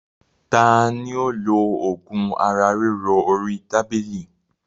Tani ó lo ogún ara ríro orí tábìlì?